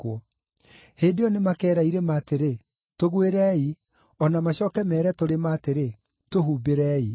Hĩndĩ ĩyo “ ‘nĩmakeera irĩma atĩrĩ, “Tũgwĩrei!” o na macooke meere tũrĩma atĩrĩ, “Tũhumbĩrei!” ’